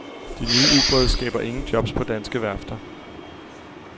De nye ubåde skaber ingen jobs på danske værfter.